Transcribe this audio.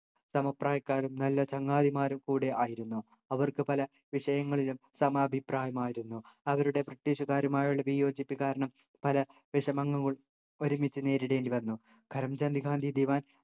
സമപ്രായക്കാരും നല്ല ചങ്ങാതിമാരും കൂടെ ആയിരുന്നു അവർക്ക് പല വിഷയങ്ങളിലും സമ അഭിപ്രായമായിരുന്നു അവരുടെ british കാരുമായുള്ള വിയോജിപ്പ് കാരണം പല വിഷമങ്ങൾ ഒരുമിച്ചു നേരിടേണ്ടി വന്നു കരം ചന്ദ് ഗാന്ധി ദിവാൻ